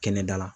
Kɛnɛda la